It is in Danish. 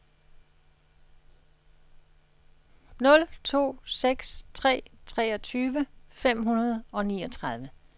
nul to seks tre treogtyve fem hundrede og niogtredive